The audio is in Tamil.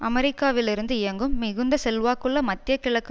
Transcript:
அமெரிக்காவிலிருந்து இயங்கும் மிகுந்த செல்வாக்குள்ள மத்திய கிழக்கு